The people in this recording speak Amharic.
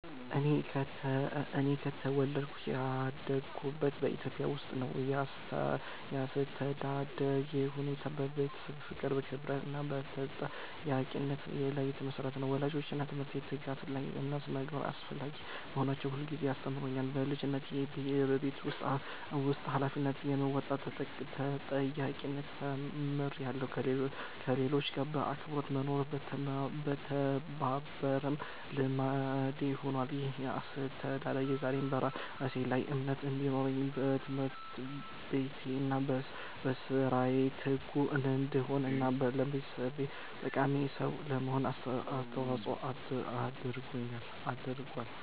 እኔ የተወለድኩትና ያደግኩት በኢትዮጵያ ውስጥ ነው። ያስተዳደግ ሁኔታዬ በቤተሰብ ፍቅር፣ በክብር እና በተጠያቂነት ላይ የተመሰረተ ነበር። ወላጆቼ ትምህርትን፣ ትጋትን እና ስነ-ምግባርን አስፈላጊ መሆናቸውን ሁልጊዜ ያስተምሩኝ ነበር። በልጅነቴ የቤት ውስጥ ኃላፊነቶችን በመወጣት ተጠያቂነትን ተምሬያለሁ፣ ከሌሎች ጋር በአክብሮት መኖርና መተባበርም ልምዴ ሆኗል። ይህ አስተዳደግ ዛሬ በራሴ ላይ እምነት እንዲኖረኝ፣ በትምህርቴ እና በሥራዬ ትጉ እንድሆን እና ለማህበረሰቤ ጠቃሚ ሰው ለመሆን አስተዋጽኦ አድርጓል።